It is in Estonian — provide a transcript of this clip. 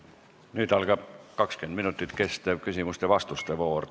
Nüüd algab 20 minutit kestev küsimuste ja vastuste voor.